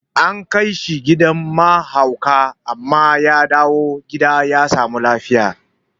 An kaishe gidan ma haukata amma ya dawu gida ya samu lafiya